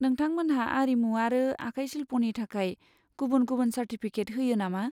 नोंथांमोनहा आरिमु आरो आखाइ शिल्पनि थाखाय गुबुन गुबुन चार्टिफिकेट होयो नामा?